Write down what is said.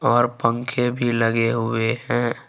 और पंखे भी लगे हुए है।